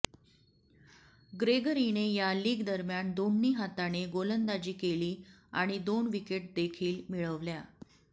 ग्रेगरीने या लीगदरम्यान दोन्ही हाताने गोलंदाजी केली आणि दोन विकेटदेखील मिळवल्या